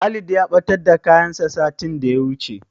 Walid ya ɓatar da kayansa satin da ya wuce.